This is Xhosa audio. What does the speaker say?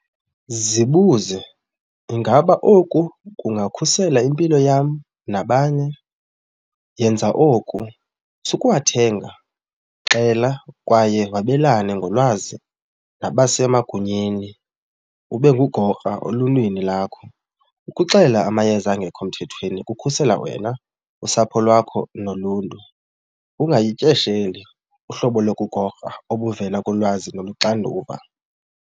Zibuze, ingaba oku kungakhusela impilo yam nabanye? Yenza oku, sukuwathenga, xela kwaye wabelane ngolwazi nabasemagunyeni, ube ngugokra oluntwini lakho. Ukuxelela amayeza angekho mthethweni kukhusela wena, usapho lwakho noluntu. Ungayityesheleni uhlobo lokugokra obuvela kulwazi noluxanduva.